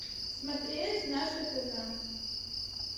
смотреть наше тв